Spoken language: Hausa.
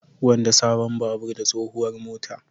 Gwanda sabon babur da tsohuwar mota.